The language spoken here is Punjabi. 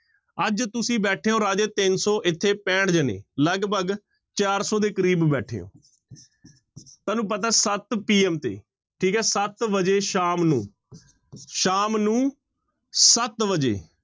ਅੱਜ ਤੁਸੀਂ ਬੈਠੇ ਹੋ ਰਾਜੇ ਤਿੰਨ ਸੌ ਇੱਥੇ ਪੈਂਹਠ ਜਾਣੇ ਲਗਪਗ ਚਾਰ ਸੌ ਦੇ ਕਰੀਬ ਬੈਠੇ ਹੋ ਤੁਹਾਨੂੰ ਪਤਾ ਸੱਤ PM ਤੇ ਠੀਕ ਹੈ ਸੱਤ ਵਜੇ ਸ਼ਾਮ ਨੂੰ ਸ਼ਾਮ ਨੂੰ ਸੱਤ ਵਜੇ